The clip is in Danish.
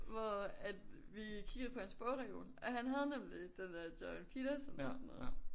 Hvor at vi kiggede på hans bogreol og han havde nemlig den der Jordan Peterson eller sådan noget